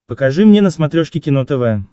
покажи мне на смотрешке кино тв